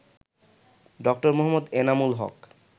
ড. মুহম্মদ এনামুল হক